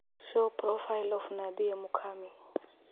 show profile of nadia mukami